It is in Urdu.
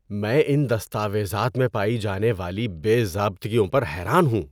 میں ان دستاویزات میں پائی جانے والی بے ضابطگیوں ہر حیران ہوں۔